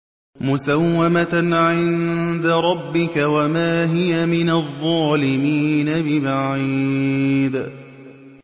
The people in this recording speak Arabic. مُّسَوَّمَةً عِندَ رَبِّكَ ۖ وَمَا هِيَ مِنَ الظَّالِمِينَ بِبَعِيدٍ